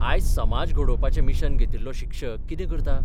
आज समज घडोवपाचें मिशन घेतिल्लो शिक्षक कितें करता?